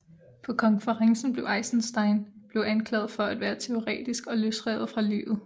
På konferencen blev Eisenstein blev anklaget for at være teoretisk og løsrevet fra livet